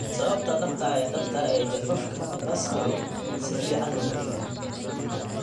Sababta dhabta ah ee dhabta ah ee jafafka basalar si fiican looma fahmin.